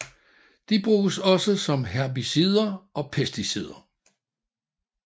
De bruges også som herbicider og pesticider